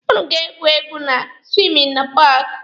Ụnụ ga-egwu egwu na siwingi nọ na paaki.